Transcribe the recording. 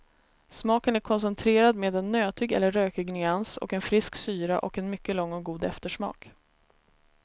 Smaken är koncentrerad med en nötig eller rökig nyans, och en frisk syra och en mycket lång och god eftersmak.